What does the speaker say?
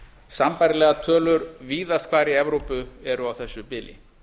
sambærilegar tölur víðast hvar í evrópu eru á þessu bili